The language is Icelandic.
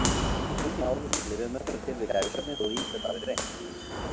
Engin árangursrík lyfjameðferð er til við kæfisvefni þó að ýmislegt hafi verið reynt.